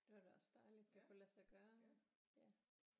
Det var da også dejligt det kunne lade sig gøre ja